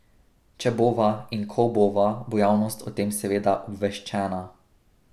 Če bova in ko bova, bo javnost o tem seveda obveščena.